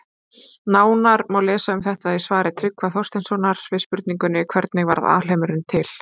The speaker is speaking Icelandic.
Nánar má lesa um þetta í svari Tryggva Þorgeirssonar við spurningunni Hvernig varð alheimurinn til?